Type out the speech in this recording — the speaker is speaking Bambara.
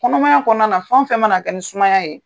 Kɔnɔmaya kɔɔna na fɛn o fɛn mana kɛ ni sumaya ye